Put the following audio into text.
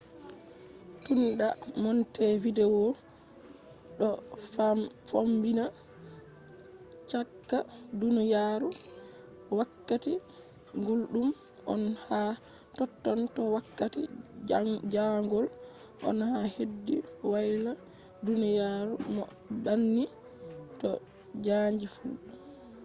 tun da montevideo do fombina chaka duniyaru wakkati guldum on ha totton to wakkati jaangol on ha hedi woyla duniyaru bo banni to chanji fu